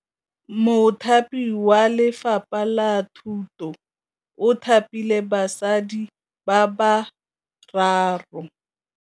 Mothapi wa Lefapha la Thutô o thapile basadi ba ba raro.